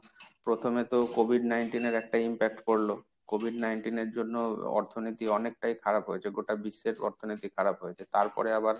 প্রথমে তো COVID nineteen এর একটা impact পরল। COVID nineteen এর জন্য অর্থনীতি অনেকটাই খারাপ হয়েছে। গোটা বিশ্বের অর্থনীতি খারাপ হয়েছে। তারপরে আবার,